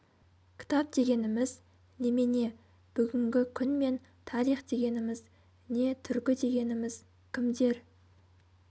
кітап дегеніміз немене бүгінгі күн мен тарих дегеніміз не түркі дегеніміз кімдер